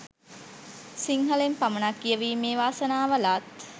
සිංහලෙන් පමණක් කියවීමේ වාසනාව ලත්